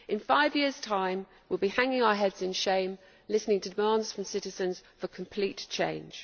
In five years' time we will be hanging our heads in shame listening to demands from citizens for complete change.